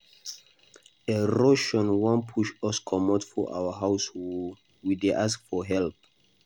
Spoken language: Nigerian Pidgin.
Erosion wan push us comot for our house oo, we dey ask for help.